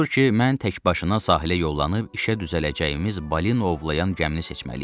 Odur ki, mən təkbaşına sahilə yollanıb işə düzələcəyimiz balin ovlayan gəmini seçməliyəm.